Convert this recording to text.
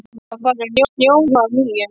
Það var farið að snjóa að nýju.